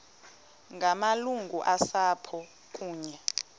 ngamalungu osapho kunye